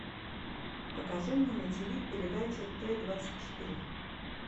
покажи мне на ти ви передачу т двадцать четыре